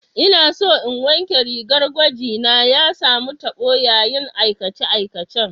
Ina so in wanke rigar gwaji na, ya samu tabo yayin aikace-aikacen.